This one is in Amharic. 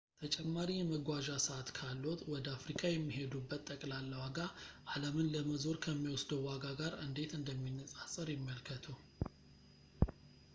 ተጨማሪ የመጓዣ ሰዓት ካልዎት ወደ አፍሪካ የሚሄዱበት ጠቅላላ ዋጋ አለምን ለመዞር ከሚወስደው ዋጋ ጋር እንዴት እንደሚነፃፀር ይመልከቱ